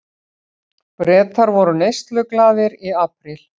Bretar voru neysluglaðir í apríl